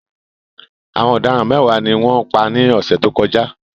Àwọn ọ̀daràn mẹ́wàá ni wọ́n pa ní ọ̀sẹ̀ tó kọjá.